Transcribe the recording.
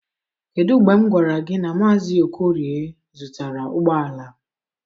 Kedu mgbe m gwara gị na Mazị Okorie zụtara ụgbọ ala?